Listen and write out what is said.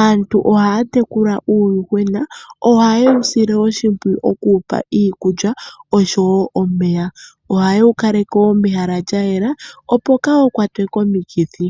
Aantu ohaya tekula uuyuhwena. Ohaye wu sile oshimpwiyu oku wu pa iikulya osho wo omeya. Ohaye wu kaleke wo mehala lya yela, opo kaawu kwatwe komikithi.